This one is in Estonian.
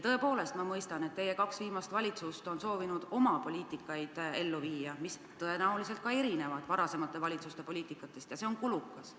Tõepoolest, ma mõistan, et teie kaks viimast valitsust on soovinud ellu viia oma poliitikat, mis tõenäoliselt erineb varasemate valitsuste omast, ja see on kulukas.